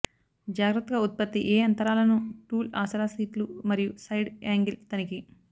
జాగ్రత్తగా ఉత్పత్తి ఏ అంతరాలను టూల్ ఆసరా సీట్లు మరియు సైడ్ యాంగిల్ తనిఖీ